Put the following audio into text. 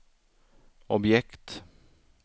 objekt